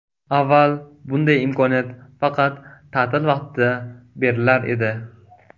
Avval bunday imkoniyat faqat ta’til vaqtida berilar edi.